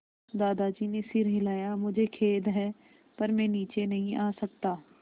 दादाजी ने सिर हिलाया मुझे खेद है पर मैं नीचे नहीं आ सकता